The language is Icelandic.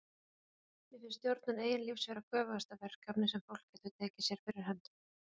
Mér finnst stjórnun eigin lífs vera göfugasta verkefni sem fólk getur tekið sér fyrir hendur.